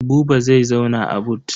Buba zai zauna a but.